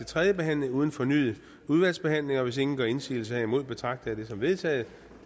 tredje behandling uden fornyet udvalgsbehandling hvis ingen gør indsigelse herimod betragter jeg det som vedtaget